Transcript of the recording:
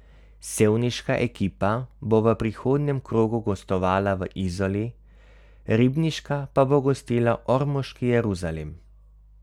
Sevniška ekipa bo v prihodnjem krogu gostovala v Izoli, ribniška pa bo gostila ormoški Jeruzalem.